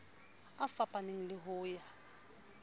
a fapaneng le ho ya